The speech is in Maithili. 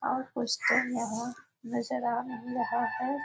और कुछ तो है नजर आ नहीं रहा है ।